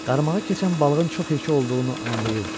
Qarmağı keçən balığın çox həkə olduğunu anlayırdı.